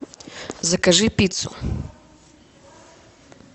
закажи пиццу